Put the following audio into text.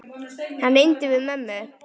Hann reyndi við mömmu!